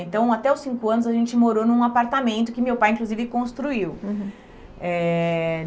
Então, até os cinco anos, a gente morou num apartamento que meu pai, inclusive, construiu. Uhum. Eh